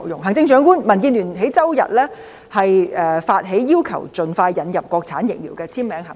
行政長官，民主建港協進聯盟在周日發起"要求盡快引入國產疫苗"的簽名行動。